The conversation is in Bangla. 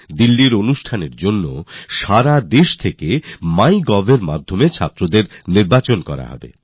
দিল্লির জন্য সারা দেশ থেকে ছাত্রছাত্রীদের নির্বাচন মাইগভ এর মাধ্যমে করা হবে